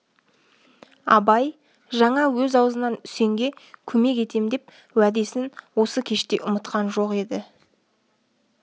абай жаңа өз аузынан үсенге көмек етем деген уәдесін осы кеште ұмытқан жоқ еді